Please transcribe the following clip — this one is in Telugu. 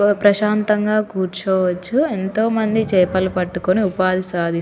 ప్రసాంతంగా చుసుకోవాచు ఎంతో మంది చపలని పట్టి ఉపాధి చేసుకుంటునారు --